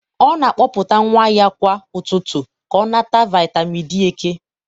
ọ na-akpọpụta nwa ya kwa ụtụtụ ka ọ nata vitamin D eke